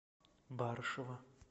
барышева